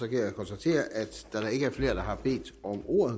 kan konstatere at da der ikke er flere der har bedt om ordet